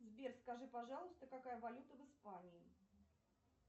сбер скажи пожалуйста какая валюта в испании